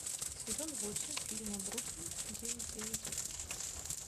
сезон восемь фильма бруклин девять девять